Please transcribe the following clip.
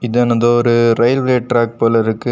இதானது ஒரு railway track போல இருக்கு.